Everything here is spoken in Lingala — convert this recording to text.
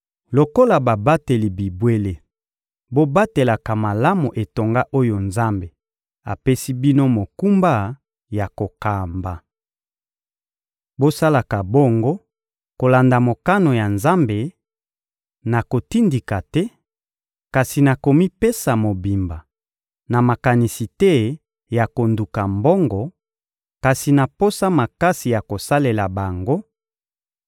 Lokola babateli bibwele, bobatelaka malamu etonga oyo Nzambe apesi bino mokumba ya kokamba. Bosalaka bongo kolanda mokano ya Nzambe: na kotindika te, kasi na komipesa mobimba; na makanisi te ya konduka mbongo, kasi na posa makasi ya kosalela bango;